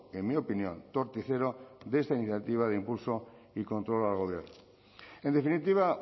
en mi opinión torticero de esta iniciativa de impulso y control al gobierno en definitiva